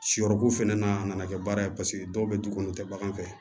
Sɔrɔko fɛnɛ na a nana kɛ baara ye paseke dɔw be dukɔnɔ te bagan fɛ